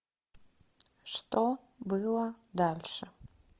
что было дальше